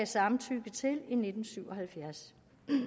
samtykke i nitten syv og halvfjerds